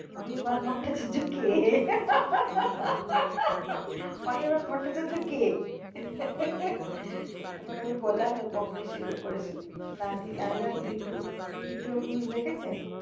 অনির্বাণ ভট্টাচার্য কে, অনির্বাণ ভট্টাচার্য কে? তখন আমি বললাম ব্যোমকেশ এর এরকম এ করেছে, আমি বললাম দুই, দ্বিতীয় পুরুষ দেখেছেন?